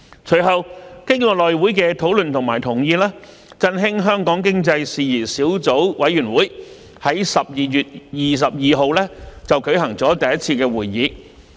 隨後，經過內務委員會的討論和同意，振興香港經濟事宜小組委員會在12月22日舉行了第一次會議。